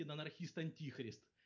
и на анархист антихрест